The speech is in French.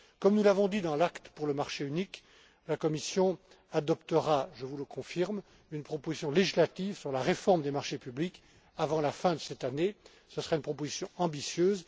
Comme nous l'avons dit dans l'acte pour le marché unique, la Commission adoptera je vous le confirme une proposition législative sur la réforme des marchés publics avant la fin de cette année. Ce sera une proposition